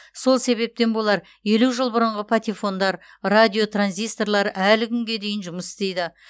сол себептен болар елу жыл бұрынғы патефондар радио транзисторлар әлі күнге дейін жұмыс істейді